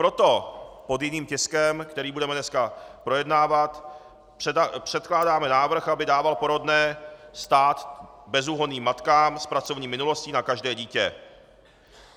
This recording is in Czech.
Proto pod jiným tiskem, který budeme dneska projednávat, předkládáme návrh, aby dával porodné stát bezúhonným matkám s pracovní minulostí na každé dítě.